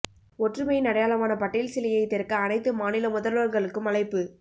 ஒற்றுமையின் அடையாளமான படேல் சிலையை திறக்க அனைத்து மாநில முதல்வர்களுக்கும் அழைப்பு